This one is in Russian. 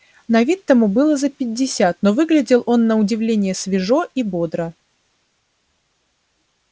на вид тому было за пятьдесят но выглядел он на удивление свежо и бодро